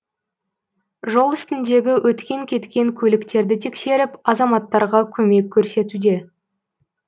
жол үстіндегі өткен кеткен көліктерді тексеріп азаматтарға көмек көрсетуде